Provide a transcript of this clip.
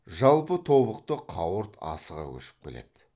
жалпы тобықты қауырт асыға көшіп келеді